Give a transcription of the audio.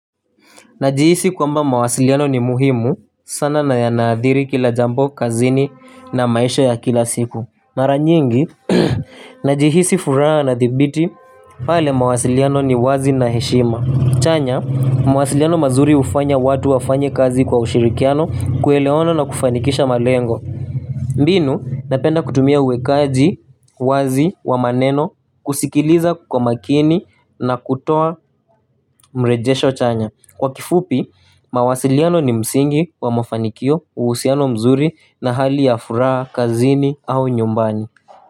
Najihisi kwamba mawasiliano ni muhimu sana na yanaathiri kila jambo kazini na maisha ya kila siku. Mara nyingi, najihisi furaha na thibiti, pale mawasiliano ni wazi na heshima. Chanya, mawasiliano mazuri hufanya watu wafanye kazi kwa ushirikiano, kuelewano na kufanikisha malengo. Mbinu, napenda kutumia uwekaji wazi wa maneno, kusikiliza kwa makini na kutoa mrejesho chanya. Kwa kifupi, mawasiliano ni msingi wa mafanikio, uhusiano mzuri na hali ya furaha, kazini au nyumbani.